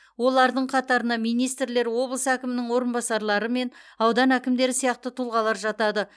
олардың қатарына министрлер облыс әкімінің орынбасарлары мен аудан әкімдері сияқты тұлғалар жатады